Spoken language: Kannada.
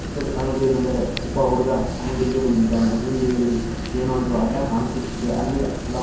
ಇದು ಏನೆಂದರೆ ಒಬ್ಬ ಹುಡುಗ ಅಂಗಡಿಗೆ ಬಂದಿದ್ದಾನೆ. ಅಂಗಡಿಯಲ್ಲಿ ಏನೊ ಇದು ಅಡ್ಡ ಕಾಣಿಸುತ್ತಿದೆ. ಅಲ್ಲಿ ಹಲವಾರು--